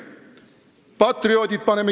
Paneme patrioodid kinni.